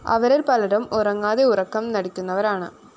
അവരില്‍ പലരും ഉറങ്ങാതെ ഉറക്കം നടിക്കുന്നവരാണ്